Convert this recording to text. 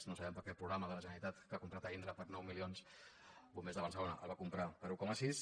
no sabem per què el programa de la generalitat que ha comprat a indra per nou milions bombers de barcelona el va com·prar per un coma sis